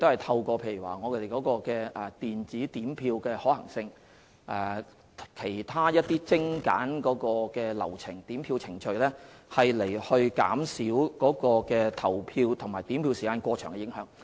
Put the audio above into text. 此外，我們會研究電子點票的可行性和是否有空間精簡點票程序，以期減少投票和點票時間過長的影響。